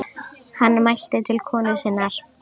Hann mælti til konu sinnar: